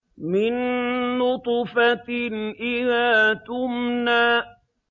مِن نُّطْفَةٍ إِذَا تُمْنَىٰ